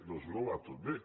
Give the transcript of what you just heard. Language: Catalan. doncs no va tot bé